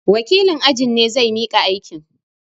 Wakilin ajin ne zai miƙa aikin.